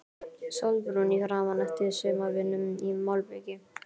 Sólbrúnn í framan eftir sumarvinnu í malbiki.